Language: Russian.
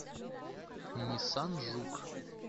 ниссан жук